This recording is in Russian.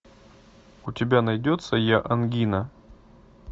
у тебя найдется я ангина